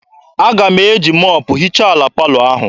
Aga m eji mọpụ hichaa ala palọ ahụ.